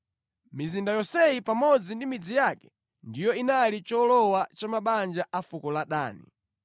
Mizinda yonseyi pamodzi ndi midzi yake ndiyo inali cholowa cha mabanja a fuko la Dani.